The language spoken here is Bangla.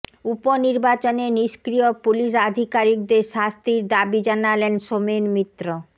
উপনির্বাচনে নিষ্ক্রিয় পুলিশ আধিকারিকদের শাস্তির দাবি জানালেন সোমেন মিত্র